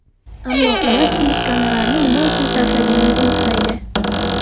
Ammo ular ilk gonorarni nima uchun sarflaganini unutmaydi.